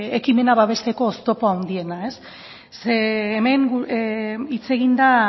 ekimena babesteko oztopo handiena ze hemen hitz egin da